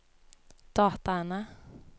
dataene